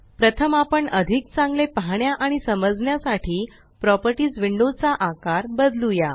प्रथम आपण अधिक चांगले पाहण्या आणि समजण्या साठी प्रॉपर्टीस विंडो चा आकार बदलूया